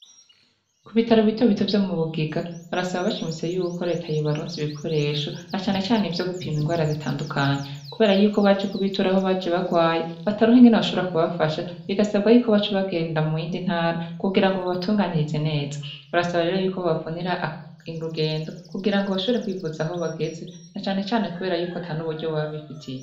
Ku bitaro bitobito vyo mu Bugiga barasaba bashimise yuko Leta yobaronsa bikoresho, na cane cane ivyo gupima indwara zitandukanye. Kubera yuko abaje kubitura aho baje bagwaye bataronka ingene bashobora kubafasha, bigasabwa yuko baca bagenda mu yindi ntara kugira ngo babatunganirize neza. Barasaba rero yuko babavunira irugendo kugira ngo bashobore kwivuza aho bageze na cyane cyane kubera yuko ata n'uburyo baba bifitiye.